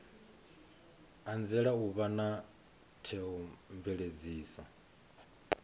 anzela u vha na theomveledziso